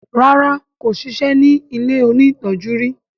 ràrá kò sisẹ́ ní ilẹ òní tọjú rí.